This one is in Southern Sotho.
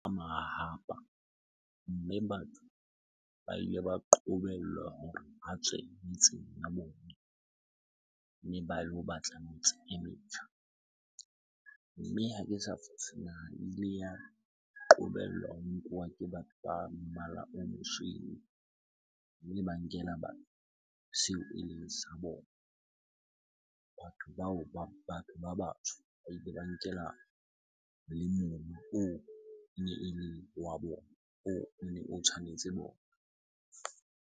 Mahahapa, mme batho ba ile ba qobellwa hore ba tswe metseng ya bona mme ba lo batla metse e metjha. Mme ha ke sa fose, naha e ile ya qobellwa ho nkuwa ke batho ba mmala o mosweu, mme ba nkela batho seo eleng sa bona. Batho bao, batho ba batsho ba ile ba nkela le mobu oo ene e le wa bona, oo o ne o tshwanetse bona.